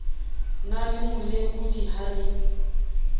na le molekodi a le